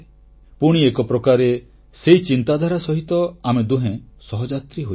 ପୁଣି ଏକପ୍ରକାରେ ସେହି ଚିନ୍ତାଧାରା ସହିତ ଆମେ ଦୁହେଁ ସହଯାତ୍ରୀ ହୋଇଯାଉ